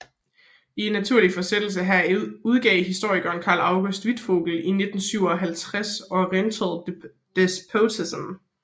I naturlig forsættelse heraf udgav historikeren Karl August Wittfogel i 1957 Oriental despotism